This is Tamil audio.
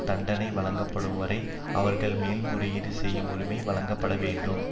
தண்டனை வழங்கப்படும்வரை அவர்கள் மேல்முறையீடு செய்யும் உரிமை வழங்கப்படவேண்டும்